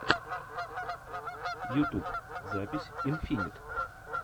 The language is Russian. ютьюб запись инфинит